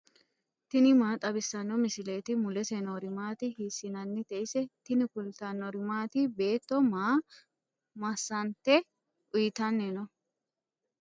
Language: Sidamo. tini maa xawissanno misileeti ? mulese noori maati ? hiissinannite ise ? tini kultannori maati? Beetto maa masante uyiittanni noo?